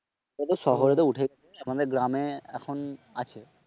ওগুলো তো শহরে তো উঠে গেছে আমাদের গ্রামে এখন আছে